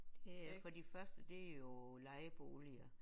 Det er for de første det er jo lejeboliger